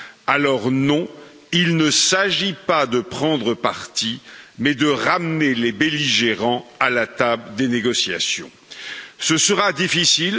Alors il ne s'agit pas de prendre parti, mais de ramener les belligérants à la table des négociations. Ce sera difficile.